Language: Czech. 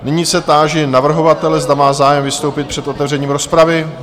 Nyní se táži navrhovatele, zda má zájem vystoupit před otevřením rozpravy?